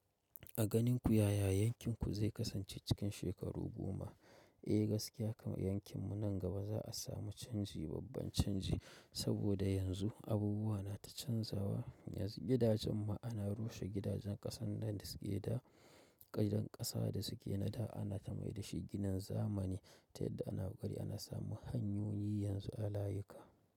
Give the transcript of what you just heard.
A ganin ku yaya yankin ku zai kasance cikin shekaru goma? Eh gaskiya kama yankin mu nan gaba za a samu canji, babban canji saboda yanzu abubuwa na ta canzawa, yanzu gidajen ma ana rushe gidajen ƙasan nan da suke da giɗan ƙasa da suke na da ana ta mai da shi ginin zamani, ta yadda ana bari ana samun hanyoyi yanzu a layuka.